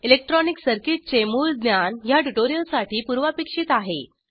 electronic circuit चे मूळ ज्ञान ह्या ट्यूटोरियलसाठी पूर्वापेक्षित आहे